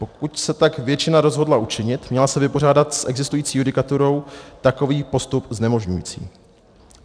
Pokud se tak většina rozhodla učinit, měla se vypořádat s existující judikaturou takový postup znemožňující.